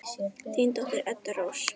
Þín dóttir, Edda Rósa.